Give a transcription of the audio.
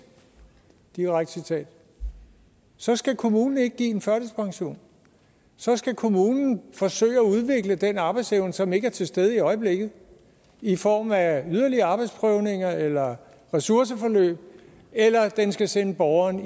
direkte citat så skal kommunen ikke give en førtidspension så skal kommunen forsøge at udvikle den arbejdsevne som ikke er til stede i øjeblikket i form af yderligere arbejdsprøvninger eller ressourceforløb eller den skal sende borgeren